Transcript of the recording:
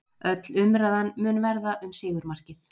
Öll umræðan mun verða um sigurmarkið